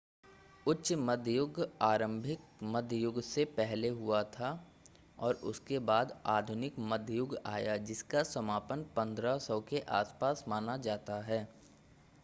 उच्च मध्य युग आरंभिक मध्य युग से पहले हुआ था और उसके बाद आधुनिक मध्य युग आया जिसका समापन 1500 के आसपास माना जाता है